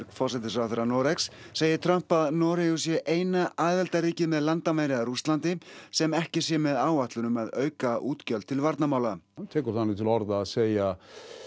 forsætisráðherra Noregs segir Trump að Noregur sé eina aðildarríkið með landamæri að Rússlandi sem ekki sé með áætlun um að auka útgjöld til varnarmála hann tekur þannig til orða að segja